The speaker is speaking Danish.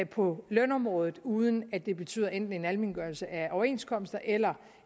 på lønområdet uden at det betyder enten en almengørelse af overenskomster eller